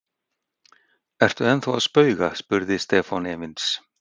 Ertu ennþá að spauga? spurði Stefán efins.